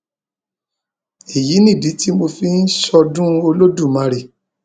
èyí nìdí tí mo fi ń ṣọdún olódùmarè